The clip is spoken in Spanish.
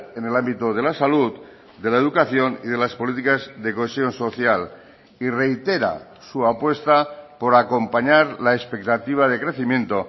en el ámbito de la salud de la educación y de las políticas de cohesión social y reitera su apuesta por acompañar la expectativa de crecimiento